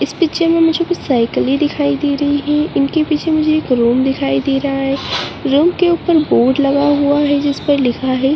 इस पिक्चर में मुझे कुछ साइक़िले दिखाई दे रही हैं इनके पीछे में मुझे एक रूम दिखाई दे रहा है रूम के ऊपर बोर्ड लगा है जिस पर लिखा है।